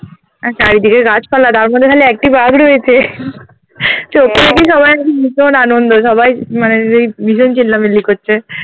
আর চারিদিকে গাছপালা তার মাঝে খালি একটি বাঘ রয়েছে সবাই একবারে আনন্দ সবাই মানে এই ভীষণ চিল্লাপাল্লা করছে